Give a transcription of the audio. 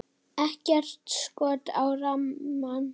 Ekkert skot á rammann?